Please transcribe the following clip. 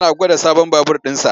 Yana gwada sabon babur ɗinsa.